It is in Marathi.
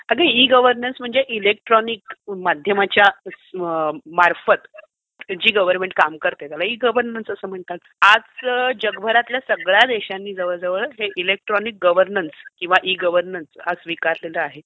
अगं, ई गव्हर्नन्स म्हणजे इलेक्ट्रॉनिक माध्यमाच्या मार्फत जी गवर्नमेंट काम करते, त्याला ई गव्हर्नन्स असं म्हणतात. आजच जगभरातल्या सगळ्या देशांनी जवळजवळ हे इलेक्ट्रॉनिक गव्हर्नन्स किंवा ई गव्हर्नन्स स्वीकारलेलं आहे